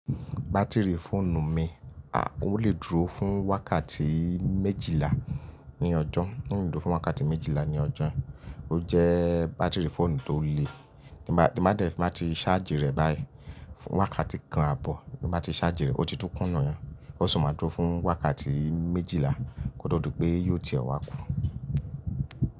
Batiri fóònù mi, à, ó lè dúró fún wákàtí méjìlá ní ọjọ́, ó lè dúró fún wákàtí méjìlá ní ọjọ́. Ó jẹ́ batiri fóònù tó le. Bí n bá, bí n bá ti ṣáàjì rẹ̀ báyìí, fun wákàtí kan àbọ̀, bí n bá ti ṣáàjì rẹ̀, ó ti tún kùn niyẹn. Ó sì máa dúró fún wákàtí méjìlá kó to di pé yiò ti e wà kù.